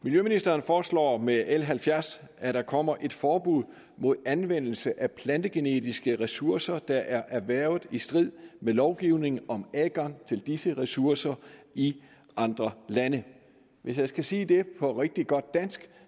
miljøministeren foreslår med l halvfjerds at der kommer et forbud mod anvendelse af plantegenetiske ressourcer der er erhvervet i strid med lovgivning om adgang til disse ressourcer i andre lande hvis jeg skal sige det på rigtig godt dansk